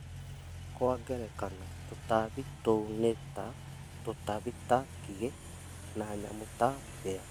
Kwa ngerekano tũtambi tũu ni ta , tũtambi ta ngigĩ, na nyamũ ta mbĩa